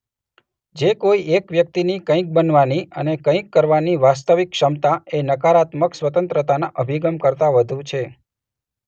જે કોઈ એક વ્યક્તિની કંઈક બનવાની અને કંઈક કરવાની વાસ્તવિક ક્ષમતા એ નકારાત્મક સ્વતંત્રતાના અભિગમ કરતા વધુ છે.